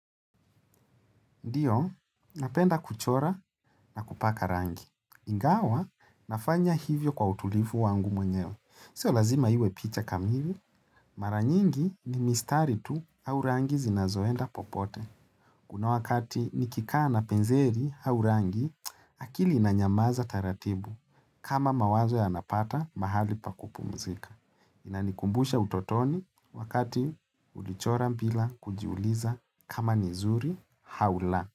Ndio, napenda kuchora na kupaka rangi. Ingawa, nafanya hivyo kwa utulifu wangu mwenyewe Sio lazima iwe picha kamili. Maranyingi ni mistari tu au rangi zinazoenda popote. Kuna wakati nikikaa na penzeri au rangi, akili inanyamaza taratibu kama mawazo ya napata mahali pakupu mzika. Inanikumbusha utotoni wakati ulichora bila kujiuliza kama nizuri haula.